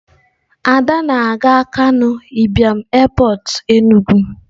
ada na-aga akanu Ibiam Airport Enugu.